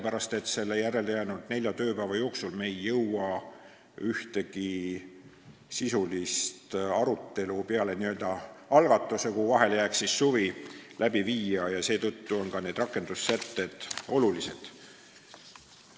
Järelejäänud nelja tööpäeva jooksul me ei jõua peale algatamise viia läbi ühtegi sisulist arutelu – suvi tuleb vahele –, aga need rakendussätted on ka olulised.